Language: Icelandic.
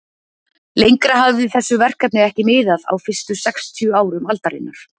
Lengra hafði þessu verkefni ekki miðað á fyrstu sextíu árum aldarinnar.